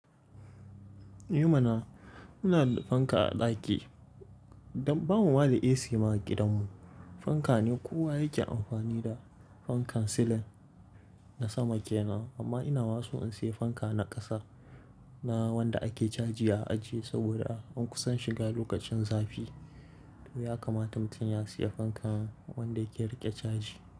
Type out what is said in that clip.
Eh mana muna da fanka a ɗaki don ba mu ma da AC ma a gidanmu. Fanka ne kowa yake amfani da fankan silin na sama kenan, amma ina maso in sayi fanka na ƙasa na wanda ake caji a aje saboda an kusan shiga lokacin zafi. To ya kamata mutum ya sayi fankan wanda yake riƙe caji.